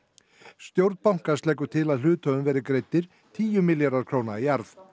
stjórn bankans leggur til að hluthöfum verði greiddir tíu milljarðar króna í arð